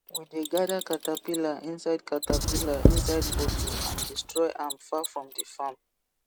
we dey gather caterpillar inside caterpillar inside bottle and destroy am far from the farm